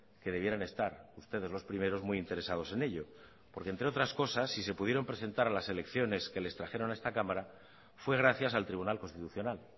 que debieran estar ustedes los primeros muy interesados en ello porque entre otras cosas si se pudieron presentar a las elecciones que les trajeron a esta cámara fue gracias al tribunal constitucional